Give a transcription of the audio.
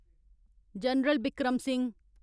general Bikram Singh